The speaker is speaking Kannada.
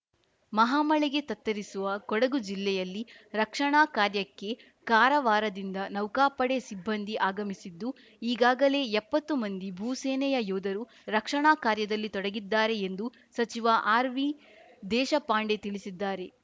ಮಹಾಮಳೆಗೆ ತತ್ತರಿಸಿರುವ ಕೊಡಗು ಜಿಲ್ಲೆಯಲ್ಲಿ ರಕ್ಷಣಾ ಕಾರ್ಯಕ್ಕೆ ಕಾರವಾರದಿಂದ ನೌಕಾಪಡೆ ಸಿಬ್ಬಂದಿ ಆಗಮಿಸುತ್ತಿದ್ದು ಈಗಾಗಲೇ ಎಪ್ಪತ್ತು ಮಂದಿ ಭೂಸೇನೆಯ ಯೋಧರು ರಕ್ಷಣಾ ಕಾರ್ಯದಲ್ಲಿ ತೊಡಗಿದ್ದಾರೆ ಎಂದು ಸಚಿವ ಆರ್‌ವಿ ದೇಶಪಾಂಡೆ ತಿಳಿಸಿದ್ದಾರೆ